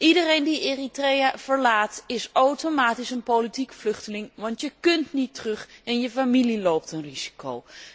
Iedereen die Eritrea verlaat is automatisch een politiek vluchteling, want je kunt niet terug en je familie loopt een risico.